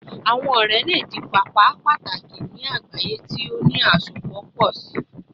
Awọn ọrẹ le di paapaa pataki ni agbaye ti o ni asopọ pọ si